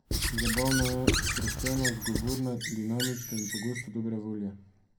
Zabavna je, sproščena, zgovorna, dinamična in pogosto dobre volje.